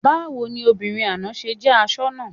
Báwo ni obìnrin àná ṣe jẹ́ asoná?